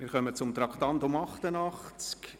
Wir kommen zum Traktandum 88: